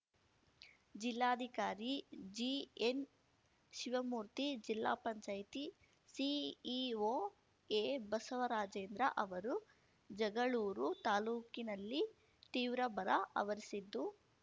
ಜಿಲ್ಲಾಧಿಕಾರಿ ಜಿಎನ್‌ಶಿವಮೂರ್ತಿ ಜಿಲ್ಲಾ ಪಂಚಾಯ್ತಿ ಸಿಇಓ ಎಬಸವರಾಜೇಂದ್ರ ಅವರು ಜಗಳೂರು ತಾಲೂಕಿನಲ್ಲಿ ತೀವ್ರ ಬರ ಅವರಿಸಿದ್ದು